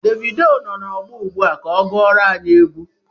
Devido nọ na ọgbọ ugbua ka ọ gụọrọ anyi egwu